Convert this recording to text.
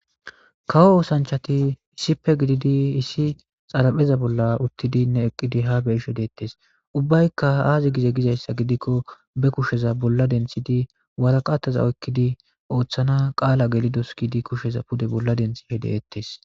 Kawo oosanchati issipe gididi issi xarapheza bolla uttidinne eqqidi habe ishe deettes ubbaykka haazi gize gizayssa gidikko be kusheza bolla denthidi waraqataza okkidi ooththana qaala gelidos kidi kusheza pude bolla denthi hedeettes.